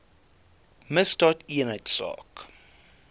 misdaadeenheidsaak